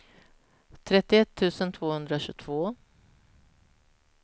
trettioett tusen tvåhundratjugotvå